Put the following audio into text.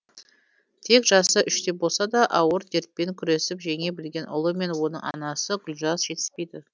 тек жасы үште болса да ауыр дертпен күресіп жеңе білген ұлы мен оның анасы гүлжаз жетіспейді